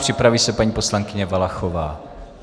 Připraví se paní poslankyně Valachová.